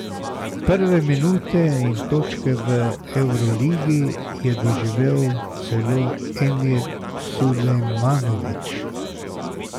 Prve minute in točke v evroligi je doživel celo Emir Sulejmanović.